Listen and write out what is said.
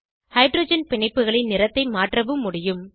hydrogen பிணைப்புகளின் நிறத்தை மாற்றவும் முடியும்